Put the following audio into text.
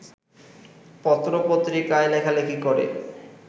পত্রপত্রিকায় লেখালেখি করে